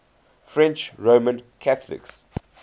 french roman catholics